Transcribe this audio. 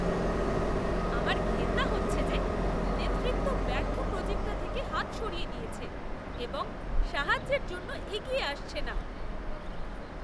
আমার ঘেন্না হচ্ছে যে নেতৃত্ব ব্যর্থ প্রোজেক্টটা থেকে হাত সরিয়ে নিয়েছে এবং সাহায্যের জন্য এগিয়ে আসছে না।